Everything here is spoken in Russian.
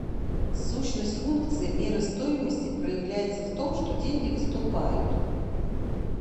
сущность функции меры стоимости проявляется в том что деньги выступают